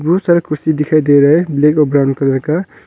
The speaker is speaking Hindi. बहुत सारे कुर्सी दिखाई दे रहे हैं ब्लैक और ब्राउन कलर का।